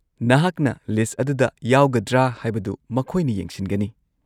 -ꯅꯍꯥꯛꯅ ꯂꯤꯁꯠ ꯑꯗꯨꯗ ꯌꯥꯎꯒꯗ꯭ꯔꯥ ꯍꯥꯏꯕꯗꯨ ꯃꯈꯣꯏꯅ ꯌꯦꯡꯁꯤꯟꯒꯅꯤ ꯫